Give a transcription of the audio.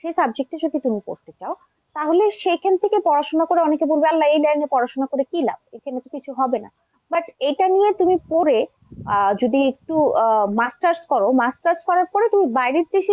সেই subject এ যদি তুমি পড়তে চাও তাহলে সেখান থেকে পড়াশোনা করে অনেকে বলবে আল্লাহ এই line এ পড়াশোনা করে কি লাভ, এখানে তো কিছু হবে না। but এটা নিয়ে তুমি পড়ে আহ যদি একটু আহ masters করো, masters করার পরে তুমি বাইরের দেশে কিন্তু,